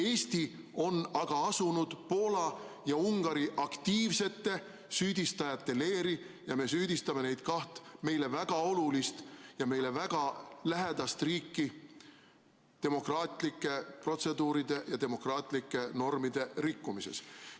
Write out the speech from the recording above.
Eesti on aga asunud Poola ja Ungari aktiivsete süüdistajate leeri ja me süüdistame neid kahte meile väga olulist ja meile väga lähedast riiki demokraatlike protseduuride ja demokraatlike normide rikkumises.